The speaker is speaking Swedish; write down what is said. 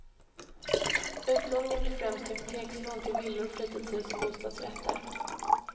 Utlåningen blir främst hypotekslån till villor, fritidshus och bostadsrätter.